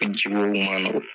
ma nɔgɔ